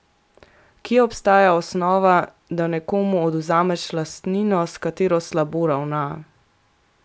Kje obstaja osnova, da nekomu odvzameš lastnino, s katero slabo ravna?